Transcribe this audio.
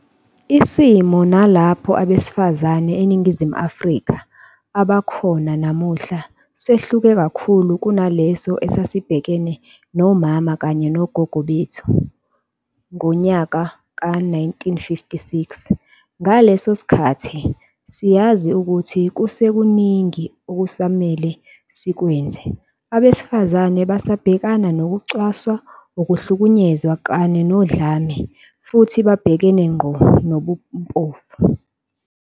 Isimo nalapho abesifazane eNi ngizimu Afrika abakhona namuhla sehluke kakhulu kunaleso esasibhekene nomama kanye nogogo bethu ngowe-1956. Ngaso leso sikhathi, siyazi ukuthi kusekuningi okusamele sikwenze. Abesifazane basabhekana nokucwaswa, ukuhlukunyezwa kanye nodlame, futhi babhekane ngqo nobumpofu.